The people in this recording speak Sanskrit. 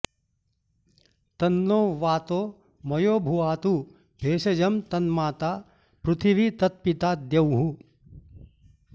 तन्नो व्वातो मयोभु वातु भेषजं तन्माता पृथिवी तत्पिता द्यौः